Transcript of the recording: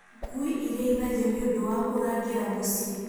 Ngui irĩithagio nĩ ũndũ wa kũrangĩra mũciĩ.